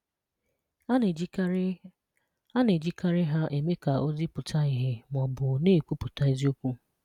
A na-ejikarị A na-ejikarị ha eme ka ozi pụta ìhè ma ọ bụ na-ekwupụta eziokwu.